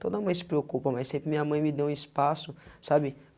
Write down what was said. Toda mãe se preocupa, mas sempre minha mãe me deu um espaço, sabe?